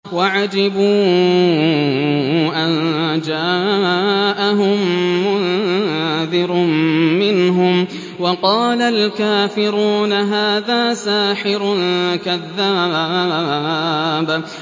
وَعَجِبُوا أَن جَاءَهُم مُّنذِرٌ مِّنْهُمْ ۖ وَقَالَ الْكَافِرُونَ هَٰذَا سَاحِرٌ كَذَّابٌ